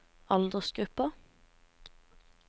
aldersgruppen